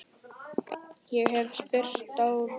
Ég hef spýtt á þig.